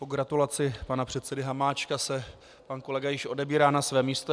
Po gratulaci pana předsedy Hamáčka se pan kolega již odebírá na své místo.